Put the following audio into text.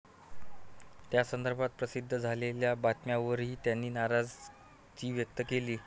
त्यासंदर्भात प्रसिध्द झालेल्या बातम्यावरही त्यांनी नाराजी व्यक्त केली.